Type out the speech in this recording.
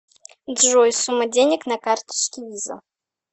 джой сумма денег на карточке виза